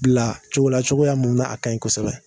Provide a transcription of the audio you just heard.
Bila cogola cogoya mun n'a ka ɲi kosɛbɛ.